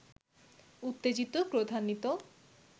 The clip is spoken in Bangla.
উত্তেজিত, ক্রোধান্বিত